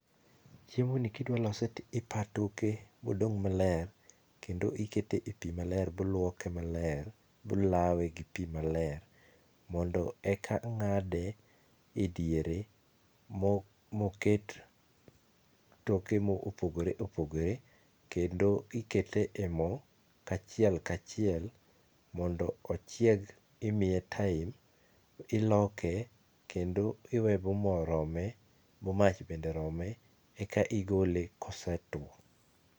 Chiemoni ka idwa lose to ipaa toke ma odong' maler, kendo ikete e pii maler, bluoke maler, blawe gi pii maler mondo eka ng'ade e diere, moket toke mopogoreopogore, kendo ikete e moo kachielkachiel .Mondo ochieg imiye time, iloke, kendo iwee b moo rome, b mach bende rome eka igole kosetwo.